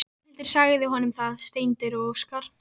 Það bjarmaði á þak Skálholtskirkju í sólinni.